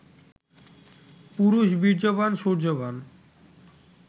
পুরুষ বীর্যবান, শৌর্যবান